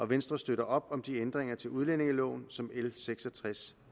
venstre støtter op om de ændringer til udlændingeloven som l seks og tres